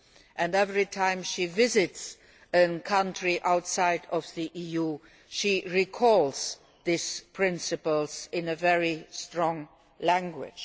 And every time she visits a country outside the EU she recalls these principles in very strong language.